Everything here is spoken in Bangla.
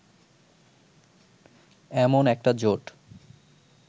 এমন একটা জোট